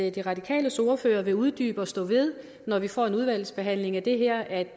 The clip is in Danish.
at de radikales ordfører vil uddybe og stå ved når vi får en udvalgsbehandling af det her at